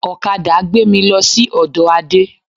Ọ̀kadà gbé mì lọ sí ọdọ Ade